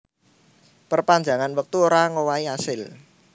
Perpanjangan wektu ora ngowahi asil